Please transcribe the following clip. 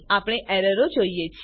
આપણે એરર જોઈએ છે